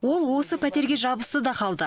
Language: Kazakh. ол осы пәтерге жабысты да қалды